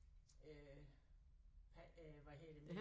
Øh hvad øh hvad hedder det nu